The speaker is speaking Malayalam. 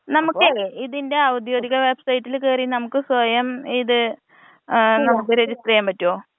നമ്മക്ക് ഇതിന്റെ ഔദ്യോഗിക വെബ് സൈറ്റില് കേറി നമുക്ക് സ്വയം ഇത് ഏഹ് നമുക്ക് രജിസ്റ്റർ ചെയ്യാൻ പറ്റോ?